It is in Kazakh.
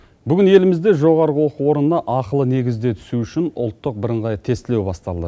бүгін елімізде жоғарғы оқу орнына ақылы негізде түсу үшін ұлттық бірыңғай тестілеу басталды